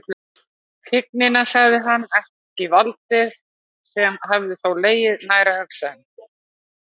Tignina, sagði hann, ekki valdið, sem hefði þó legið nær að hugsa um.